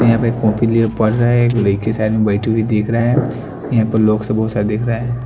यहां पे कॉपी लिए पढ़ रहा है एक लड़के साइड में बैठी हुई देख रहे हैं यहां पर लोक से बहुत सारा दिख रहे है।